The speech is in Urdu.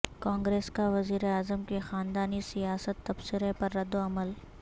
کانگریس کا وزیراعظم کے خاندانی سیاست تبصرہ پر ردعمل